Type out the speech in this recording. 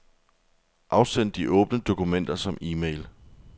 Afsend de åbne dokumenter som e-mail.